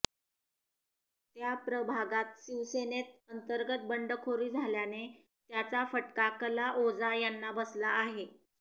त्या प्रभागात शिवसेनेत अंतर्गत बंडखोरी झाल्याने त्याचा फटका कला ओझा यांना बसला आहे